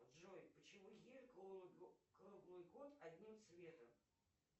джой почему ель круглый год одним цветом